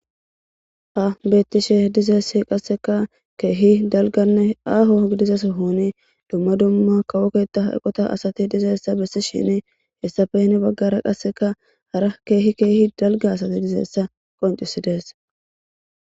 Ha bettishe dizayisi qasseka kehi daliggane aho gidiza sohhoni duma duma kawo ketha aqaota assati dizayisa besishini hesappe Hen baggara qassika hara kehi daliga daliga assat qoncisidesi